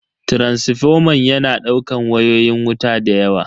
Taransifoman yana daukan wayoyin wuta dayawa.